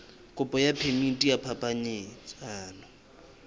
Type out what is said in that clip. kopo ya phemiti ya phapanyetsano